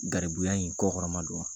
Garibuya in kɔkɔrɔmadon wa?